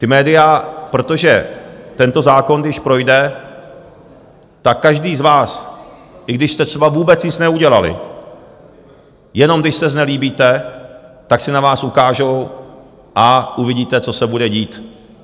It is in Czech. Ta média, protože tento zákon, když projde, tak každý z vás, i když jste třeba vůbec nic neudělali, jenom když se znelíbíte, tak si na vás ukážou, a uvidíte, co se bude dít.